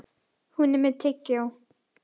Hún er með tyggjó.